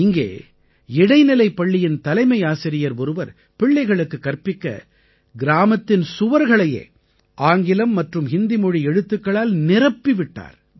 இங்கே இடைநிலைப் பள்ளியின் தலைமையாசிரியர் ஒருவர் பிள்ளைகளுக்குக் கற்பிக்க கிராமத்தின் சுவர்களையே ஆங்கிலம் மற்றும் ஹிந்தி மொழி எழுத்துக்களால் நிரப்பி விட்டார்